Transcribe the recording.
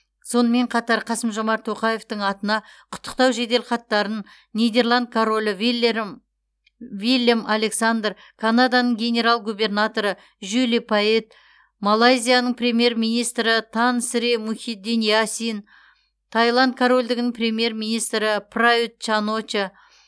сонымен қатар қасым жомарт тоқаевтың атына құттықтау жеделхаттарын нидерланд королі вилерм виллем александр канаданың генерал губернаторы жюли пайетт малайзияның премьер министрі тан сри мухиддин ясин тайланд корольдігінің премьер министрі прают чан оча